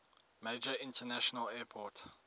major international airport